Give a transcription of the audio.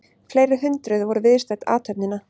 Fleiri hundruð voru viðstödd athöfnina